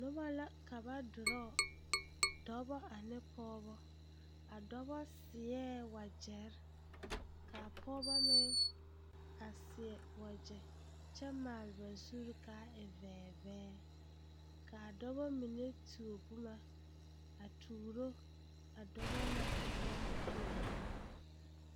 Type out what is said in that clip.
Noba la ka ba durɔɔ dɔbɔ ane pɔɔbɔ dɔbɔ seɛ waɡyɛre ka a pɔɡebɔ meŋ seɛ waɡyɛ kyɛ maale ba zuri ka e vɛɛvɛɛ lɛ ka a dɔbɔ mine tuo boma a tuuro a dɔbɔ na a dɔbɔ naŋ ba tuo a boma.